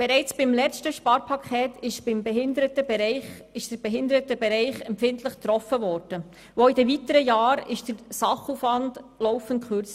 Bereits beim letzten Sparpaket wurde der Behindertenbereich empfindlich getroffen, und auch in den weiteren Jahren wurde der Sachaufwand laufend gekürzt.